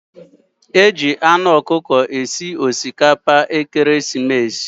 Eji anu ọkụkọ esi osikapa ekeresimesi.